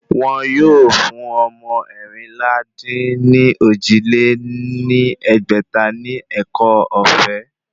Wọ́n yóò fún ọmọ eérinlá-dín-ní-ojì lé ní ẹgbẹ́ta ní ẹ̀kọ́ ọ̀fẹ́